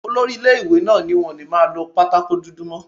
Olori ilé-ìwé náà ní wọn ò ní máa lọ pátákò dúdú mọ́